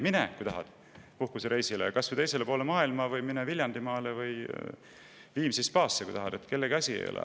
Mine puhkusereisile, kui tahad, kas või teisele poole maa või Viljandimaale või Viimsi spaasse, kellegi asi ei ole.